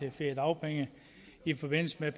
af feriedagpenge i forbindelse med